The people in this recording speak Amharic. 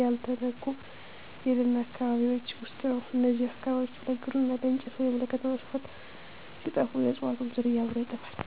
ያልተነኩ የደን አካባቢዎች ውስጥ ነው። እነዚህ አካባቢዎች ለግብርና፣ ለእንጨት ወይም ለከተማ መስፋፋት ሲጠፉ፣ የእፅዋቱም ዝርያ አብሮ ይጠፋል።